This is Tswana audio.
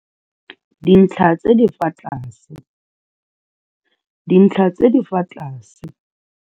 Dintlha tse di fa tlase, dintlha tse di fa tlase.